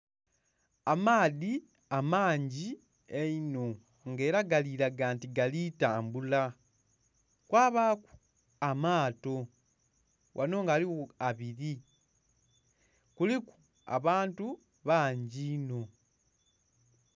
Amaadhi amangi einho nga era galiraga nti galitambula kwabaku amaato, wano ghaligho abiri kuliku abantu bangi ino.